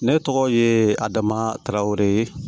Ne tɔgɔ ye adama tarawele